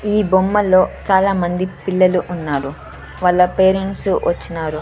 ఈ బొమ్మలో చాలా మంది పిల్లలు ఉన్నారు వాళ్ళ పేరెంట్స్ వచ్చినారు.